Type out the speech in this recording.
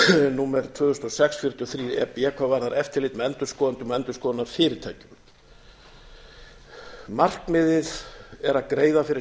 númer tvö þúsund og sex fjörutíu og þrjú e b hvað varðar eftirlit með endurskoðendum og endurskoðunarfyrirtækjum markmiðið er að greiða fyrir